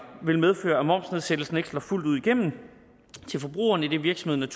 vil medføre at en momsnedsættelse ikke slår fuldt ud igennem til forbrugeren idet virksomheden